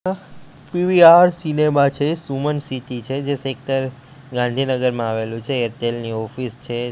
અ PVR cinema છે Suman city છે જે સેક્ટર ગાંધીનગરમાં આવેલુ છે એરટેલ ની ઓફિસ છે.